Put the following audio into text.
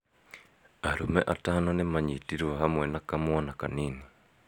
Arũme atano nĩmanyitĩrũo hamwe na kamwana kanini